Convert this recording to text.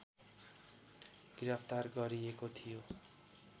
गिरफ्तार गरिएको थियो